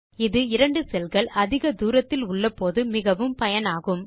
இது இரண்டு செல் கள் அதிக தூரத்தில் உள்ளபோது மிகவும் பயனாகும்